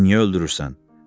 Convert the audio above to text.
Məni niyə öldürürsən?